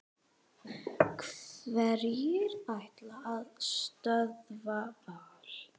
Hverjir ætla að stöðva Val?